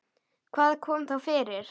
Hvað kom þá fyrir?